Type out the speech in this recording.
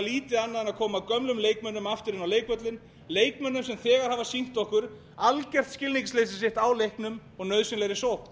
lítið annað en að koma gömlum leikmönnum aftur inn inn á leikvöllinn leikmönnum sem þegar hafa sýnt okkur algjört skilningsleysi sitt á leiknum og nauðsynlegri sókn